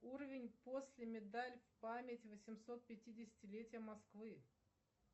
уровень после медаль память восемьсот пятидесятилетия москвы